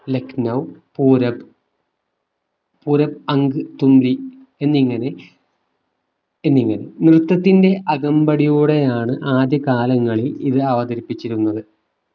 ലക്നൗ പൂരബ് പൂരബ് അംഗ് തുംലി എന്നിങ്ങനെ എന്നിങ്ങനെ നൃത്തത്തിന്റെ അകമ്പടിയോടെയാണ് ആദ്യകാലങ്ങളിൽ ഇത് അവതരിപ്പിച്ചിരുന്നത്